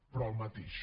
però el mateix